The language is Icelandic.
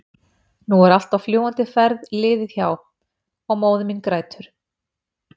nú allt er á fljúgandi ferð liðið hjá- og móðir mín grætur.